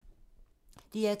DR2